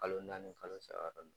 Kalo naani kalo saba la